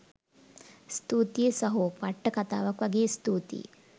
ස්තුතියි සහො පට්ට කතාවක් වගේ ස්තුතියි